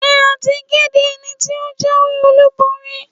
Ṣé a ti kéde ẹni tí ó jáwé-olúborí?